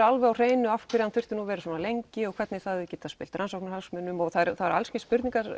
alveg á hreinu af hverju hann þurfti að vera svona lengi og hvernig það gæti spillt rannsóknargögnum og alls kyns spurningar